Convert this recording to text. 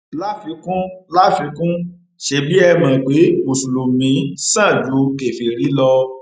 láfikún láfikún ṣebí ẹ mọ pé mùsùlùmí sàn ju kèfèrí lọ